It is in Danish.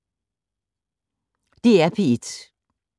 DR P1